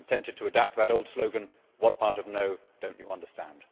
I am tempted to adapt that old slogan what part of no' do you not understand?